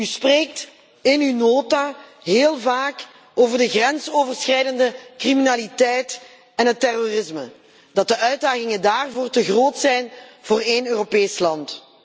U spreekt in uw nota heel vaak over de grensoverschrijdende criminaliteit en het terrorisme, en stelt dat de uitdagingen daarvoor te groot zijn voor één Europees land.